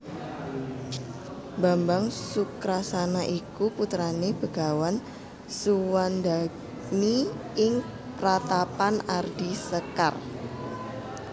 Bambang Sukrasana iku putrane Begawan Suwandagni ing Pratapan Ardi Sekar